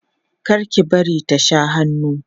kar ki bari ta Sha hannu